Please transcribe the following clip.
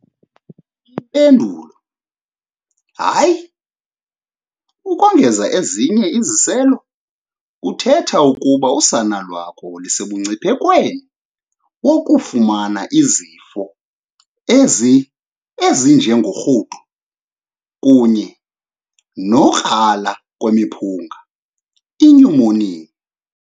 Impendulo, hayi, ukongeza ezinye iziselo kuthetha ukuba usana lakho lusemngciphekweni wokufumana izifo ezinjengorhudo kunye nokukrala kwemiphunga inyumoniya.